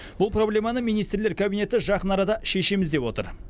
бұл проблеманы министрлер кабинеті жақын арада шешеміз деп отыр